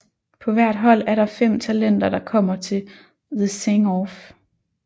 På hvert hold er der fem talenter der kommer til The Sing Off